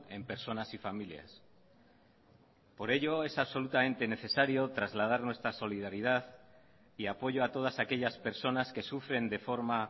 en personas y familias por ello es absolutamente necesario trasladar nuestra solidaridad y apoyo a todas aquellas personas que sufren de forma